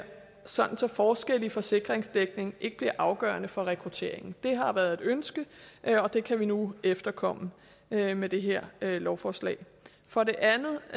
sådan at forskelle i forsikringsdækning ikke bliver afgørende for rekrutteringen det har været et ønske og det kan vi nu efterkomme med med det her lovforslag for det andet